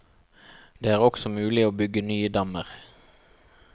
Det er også mulig å bygge nye dammer.